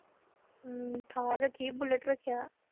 ਹਮ ਥਾਰ ਰੱਖੀ ਬੁਲਟ ਰੱਖਿਆ।